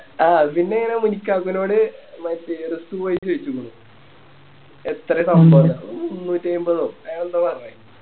ആ പിന്നിങ്ങനെ അവനോട് മറ്റേ പോയി ചോയിച്ചക്കുണു എത്ര ന്ന് ഒൻ മുന്നൂറ്റയിമ്പതോ അങ്ങനെ ന്തോ പറഞ്ഞെ